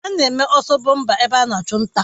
Ana-eme ọsọ bọmpa ebe ana achụ nta.